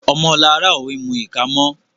Omo Lara o mú ika mọ.